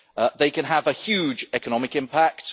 They can have a huge economic impact.